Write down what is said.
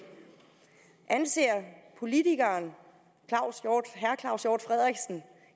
anser politikeren herre claus hjort frederiksen